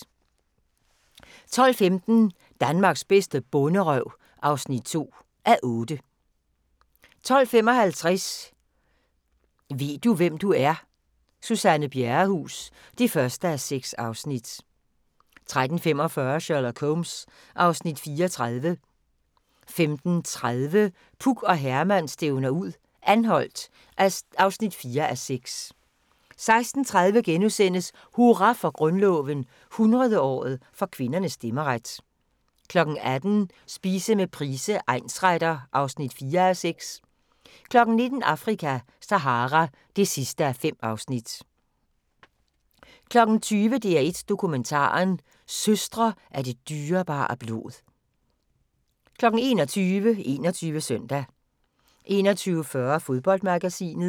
12:15: Danmarks bedste bonderøv (2:8) 12:55: Ved du, hvem du er? - Suzanne Bjerrehuus (1:6) 13:45: Sherlock Holmes (Afs. 34) 15:30: Puk og Herman stævner ud - Anholt (4:6) 16:30: Hurra for Grundloven – 100-året for kvindernes stemmeret * 18:00: Spise med Price, egnsretter (4:6) 19:00: Afrika - Sahara (5:5) 20:00: DR1 Dokumentaren: Søstre af det dyrebare blod 21:00: 21 Søndag 21:40: Fodboldmagasinet